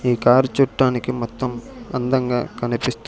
ఈ కార్ చుట్టానికి మొత్తం అందంగా కనిపిస్త్--